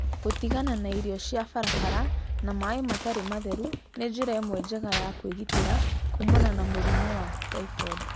Gũtigana na irio cia barabara na maĩ matarĩ matheru nĩ njĩra ĩmwe njega ya kwĩgitĩra kuumana na mũrimũ wa typhoid.